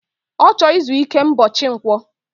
Ochor izu ike mbochi nkwo